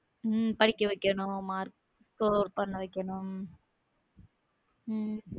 உம் படிக்க வைக்கணும் mark score பண்ண வைக்கணும் உம்